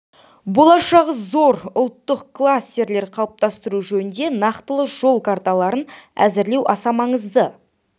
болашағы зор ұлттық кластерлер қалыптастыру жөнінде нақтылы жол карталарын әзірлеу аса маңызды